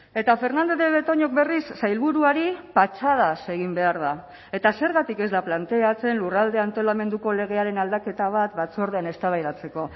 eta fernandez de betoñok berriz sailburuari patxadaz egin behar da eta zergatik ez da planteatzen lurralde antolamenduko legearen aldaketa bat batzordean eztabaidatzeko